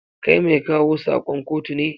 Kai mai kawo sakon kotu ne?